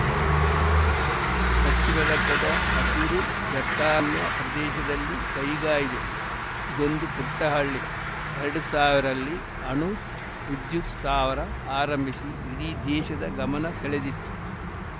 ಪಶ್ಚಿಮ ಘಟ್ಟದ ಹಸಿರು ದಟ್ಟಾರಣ್ಯ ಪ್ರದೇಶದಲ್ಲಿ ಕೈಗಾ ಇದೆ ಇದೊಂದು ಪುಟ್ಟಹಳ್ಳಿ ಎರಡು ಸಾವಿರಲ್ಲಿ ಅಣು ವಿದ್ಯುತ್‌ ಸ್ಥಾವರ ಆರಂಭಿಸಿ ಇಡೀ ದೇಶದ ಗಮನ ಸೆಳೆದಿತ್ತು